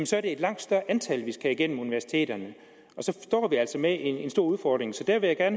så er det et langt større antal vi skal have igennem universiteterne og så står vi altså med en stor udfordring så der vil jeg